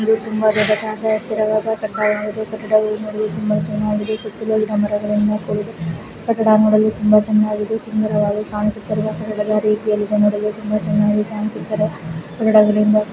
ಇದು ಒಂದು ತುಂಬಾ ದೊಡ್ಡದಾದ ಎತ್ತರವಾದ ಕಟ್ಟಡವಾಗಿದ್ದೆ ಈ ಕಟ್ಟಡ ನೋಡಲು ತುಂಬಾ ಚೆನ್ನಾಗಿ ಕಾಣಿಸುತ್ತಿದೆ ಸುತ್ತಲೂ ಗಿಡ ಮರಗಳಿಂದ ಕೂಡಿದ್ದು ಕಟ್ಟಡವು ತುಂಬಾ ಚೆನ್ನಾಗಿ ಕಾಣಿಸುತ್ತಿದೆ.